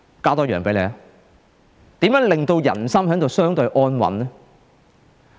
我再提出一點，如何令人心相對安穩呢？